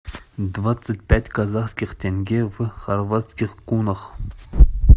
двадцать пять казахских тенге в хорватских кунах